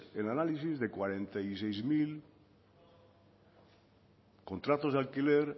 el análisis de cuarenta y seis mil contratos de alquiler